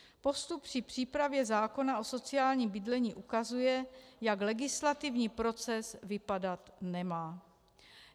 Postup při přípravě zákona o sociálním bydlení ukazuje, jak legislativní proces vypadat nemá.